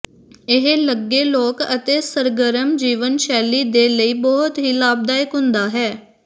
ਇਹ ਲੱਗੇ ਲੋਕ ਅਤੇ ਸਰਗਰਮ ਜੀਵਨ ਸ਼ੈਲੀ ਦੇ ਲਈ ਬਹੁਤ ਹੀ ਲਾਭਦਾਇਕ ਹੁੰਦਾ ਹੈ